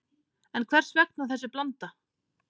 En hvers vegna þessi blanda